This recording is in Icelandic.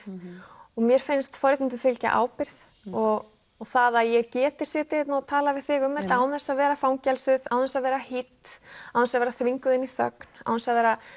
og mér finnst forréttindum fylgja ábyrgð og það að ég geti setið hérna og talað við þig um án þess að vera fangelsuð án þess að vera hýdd án þess að vera þvinguð inn í þögn án þess að vera